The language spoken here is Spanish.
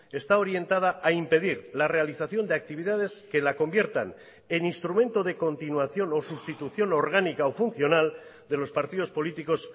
está orientada a impedir la realización de actividades que la conviertan en instrumento de continuación o sustitución orgánica o funcional de los partidos políticos